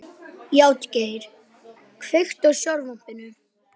Játgeir, kveiktu á sjónvarpinu.